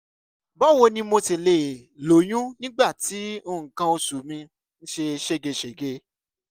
báwo ni mo ṣe lè lóyún nígbà tí nǹkan oṣù mi ń ṣe ségesège?